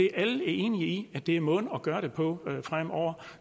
er enige i er måden at gøre det på fremover